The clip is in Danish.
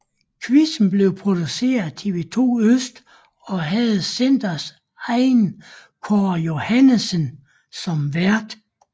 Quizzen blev produceret af TV2 Øst og havde centrets egen Kåre Johannessen som vært